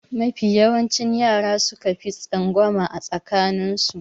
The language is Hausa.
Mafi yawancin yara suka fi tsangwama a tsakanin su.